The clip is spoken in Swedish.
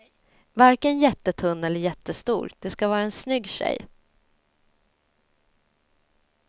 Varken jättetunn eller jättestor, det ska vara en snygg tjej.